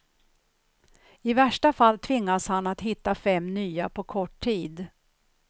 I värsta fall tvingas han att hitta fem nya på kort tid.